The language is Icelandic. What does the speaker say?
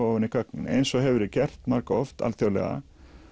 ofan í gögnin eins og hefur verið gert margoft alþjóðlega